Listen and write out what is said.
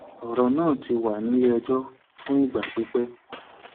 ọrọ náà ti wà nílẹẹjọ fún ìgbà pípẹ